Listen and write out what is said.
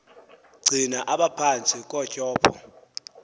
gcina aphantsi kotyhopho